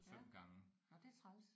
Ja. Nåh det er træls